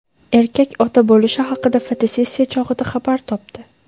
Erkak ota bo‘lishi haqida fotosessiya chog‘ida xabar topdi .